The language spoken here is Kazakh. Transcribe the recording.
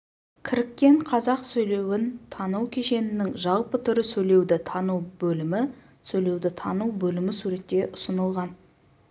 кіріккен қазақ сөйлеуін тану кешенінің жалпы түрі сөйлеуді тану бөлімі сөйлеуді тану бөлімі суретте ұсынылған